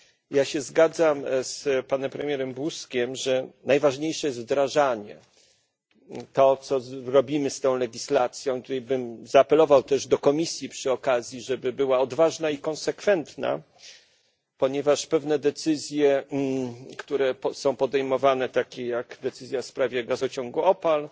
Ja się zgadzam z panem premierem Buzkiem, że najważniejsze jest wdrażanie, to, co zrobimy z tą legislacją. Tutaj bym zaapelował też do Komisji, żeby była odważna i konsekwentna, ponieważ pewne decyzje, które są podejmowane, takie jak decyzja w sprawie gazociągu OPAL